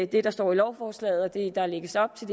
det der står i lovforslaget og det der lægges op til